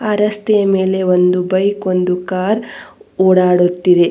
ಅ ರಸ್ತೆಯ ಮೇಲೆ ಬೈಕ್ ಒಂದು ಕಾರ್ ಓಡಾಡುತ್ತಿದೆ.